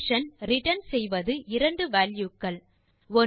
function return செய்வது இரண்டு value க்கள்